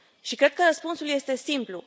Cred că răspunsul este simplu.